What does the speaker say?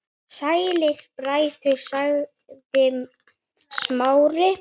Sælir bræður- sagði Smári.